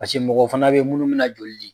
Paseke mɔgɔ fana bɛ munnu mina joli di.